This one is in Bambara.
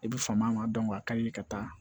I bɛ fama a ka di ka taa